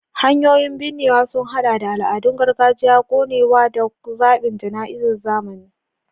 Hanyoyin binnewa sun haɗa da al'adun gargajiya, konewa, da zaɓin jana'izar zamani.